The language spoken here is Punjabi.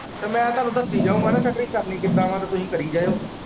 ਮੈਂ ਤੁਹਾਨੂੰ ਦੱਸੀ ਜਾਊਗਾ ਨਾ ਸਟਰਿੰਗ ਕਰਨੀ ਕਿੱਦਾ ਵਾ ਤੇ ਤੁਹੀਂ ਕਰੀ ਜਾਇਓ।